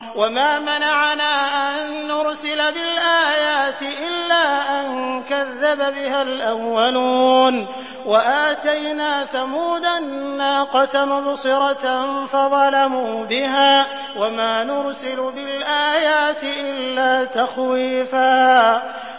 وَمَا مَنَعَنَا أَن نُّرْسِلَ بِالْآيَاتِ إِلَّا أَن كَذَّبَ بِهَا الْأَوَّلُونَ ۚ وَآتَيْنَا ثَمُودَ النَّاقَةَ مُبْصِرَةً فَظَلَمُوا بِهَا ۚ وَمَا نُرْسِلُ بِالْآيَاتِ إِلَّا تَخْوِيفًا